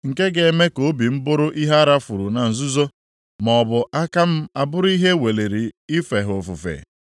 nke ga-eme ka obi m bụrụ ihe a rafuru na nzuzo, maọbụ aka m abụrụ ihe e weliri ife ha ofufe,